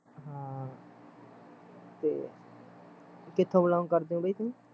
ਹਾਂ ਤੇ ਕਿਥੋਂ belong ਕਰਦੇ ਓ ਬਾਈ ਤੁਸੀਂ